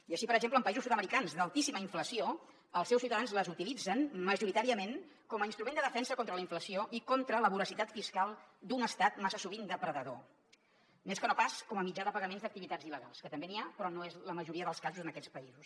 i així per exemple en països sud americans d’altíssima inflació els seus ciutadans les utilitzen majoritàriament com a instrument de defensa contra la inflació i contra la voracitat fiscal d’un estat massa sovint depredador més que no pas com a mitjà de pagaments d’activitats il·legals que també n’hi ha però no és la majoria dels casos en aquests països